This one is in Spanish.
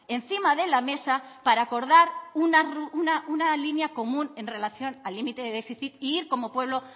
encima de la mesa para acordar una línea común en relación al límite de déficit e ir como pueblo